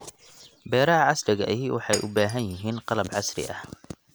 Beeraha casriga ahi waxay u baahan yihiin qalab casri ah.